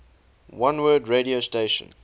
oneword radio station